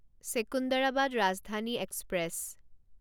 Secunderabad Rajdhani express